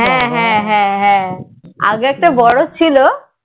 হ্যাঁ হ্যাঁ আগে তো বড়ো ছিল